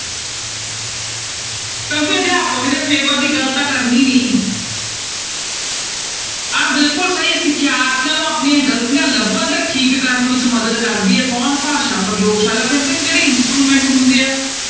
ਕਿਉਂਕਿ ਅਧਿਆਪਕ ਨੇ ਦੀ ਗੱਲ ਤਾਂ ਕਰਨੀ ਨੀ ਆਹ ਬਿਲਕੁਲ ਸਹੀ ਹੈੈ ਸਿਖਿਆਰਥੀਆਂ ਨੂੰ ਆਪਣੀਆਂ ਗ਼ਲਤੀਆਂ ਲੱਭਣ ਤੇ ਠੀਕ ਕਰਨ ਵਿੱਚ ਮਦਦ ਕਰਦੀ ਹੈ ਕੌਣ ਭਾਸ਼ਾ ਪ੍ਰਯੋਗਸ਼ਾਲਾ ਕਿਉਂਕਿ ਉਹ 'ਚ instrument ਹੁੰਦੇ ਆ,